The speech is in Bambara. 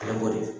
Ale b'o de kɛ